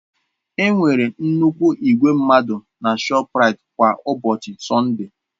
Enwere nnukwu igwe mmadụ na ShọpRait kwa ụbọchị Sọnde.